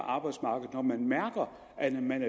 arbejdsmarkedet når man mærker at man